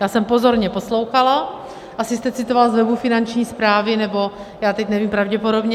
Já jsem pozorně poslouchala, asi jste citoval z webu Finanční správy, nebo já teď nevím, pravděpodobně.